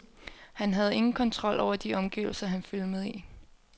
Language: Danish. Han havde ingen kontrol over de omgivelser, han filmede i.